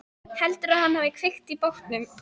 Heldurðu að hann hafi kveikt í bátnum?